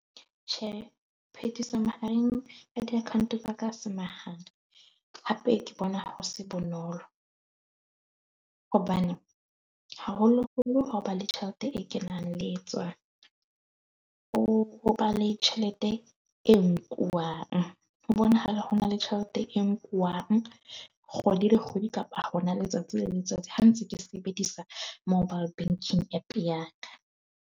Tjhe, mahareng ka di account tsa ka ha se mahala. Hape ke bona ho se bonolo hobane haholo-holo ho ba le tjhelete e kenang le e tswang. Ho ho ba le tjhelete e nkuwang, ho bonahala ho na le tjhelete e nkuwang kgwedi le kgwedi kapa hona letsatsi le letsatsi. Ha ntse ke sebedisa mobile banking app ya ka.